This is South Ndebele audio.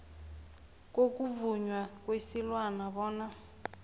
kokuvunywa kwesilwana bona